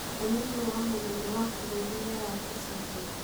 mũnĩnĩ wa mũnene wa bũrũri nĩaratũcereire